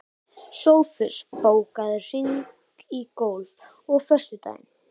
Sófus, bókaðu hring í golf á föstudaginn.